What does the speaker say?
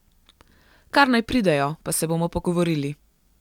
Kar naj pridejo, pa se bomo pogovorili.